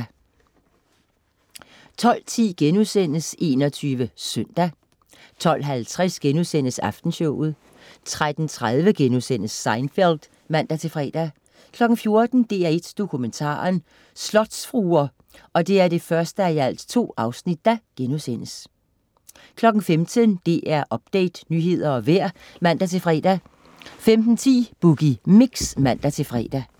12.10 21 SØNDAG* 12.50 Aftenshowet* 13.30 Seinfeld* (man-fre) 14.00 DR1 Dokumentaren: Slotsfruer* 1:2 15.00 DR Update, nyheder og vejr (man-fre) 15.10 Boogie Mix (man-fre)